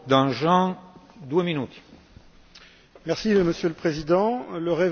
Monsieur le Président, le réveil est bien tardif et il est douloureux.